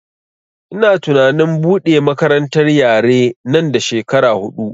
Ina tunanin buɗe makarantar yare nan da shekara huɗu